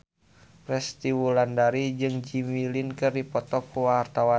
Resty Wulandari jeung Jimmy Lin keur dipoto ku wartawan